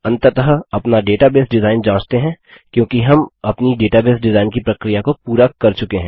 अंततः अपना database design जाँचते हैं क्योंकि हम अपनी डेटाबेस डिजाइन की प्रक्रिया को पूरा कर चुके हैं